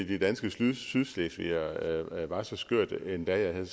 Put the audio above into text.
de danske sydslesvigere var så skørt endda jeg havde